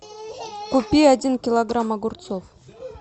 купи один килограмм огурцов